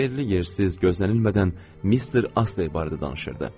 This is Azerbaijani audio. Yerli-yersiz, gözlənilmədən Mister Astley barədə danışırdı.